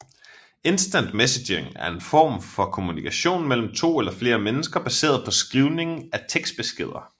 Instant messaging er en form for kommunikation mellem to eller flere mennesker baseret på skrivning af tekstbeskeder